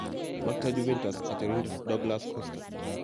maktoi Juventus katiorindet Douglas Costa